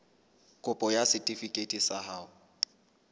kopo ya setefikeiti sa ho